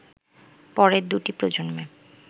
পরের দুটি প্রজন্মে